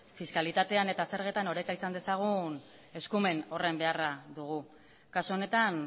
fiskalitatean eta zergetan izan dezagun eskumen horren beharra dugu kasu honetan